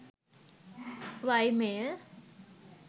ymail